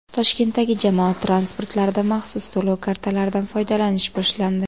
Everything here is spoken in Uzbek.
Toshkentdagi jamoat transportlarida maxsus to‘lov kartalaridan foydalanish boshlandi.